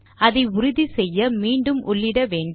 அதை உறுதிசெய்ய மீண்டும் உள்ளிட்ட வேண்டும்